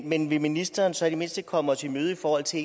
men vil ministeren så i det mindste komme os i møde i forhold til